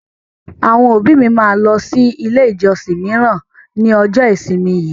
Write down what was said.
Àwọn òbí mi máa lọ sí ilé ìjọsìn míràn ní ọjọ́ ìsinmi yìí.